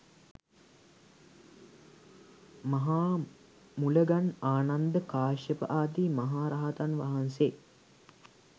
මහා මුලගන්, ආනන්ද, කාශ්‍යප ආදි මහා රහතන් වහන්සේ